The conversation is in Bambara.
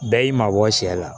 Bɛɛ y'i mabɔ sɛ la